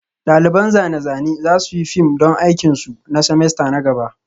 Ɗaliban zane-zane za su yi fim don aikin su na semester na gaba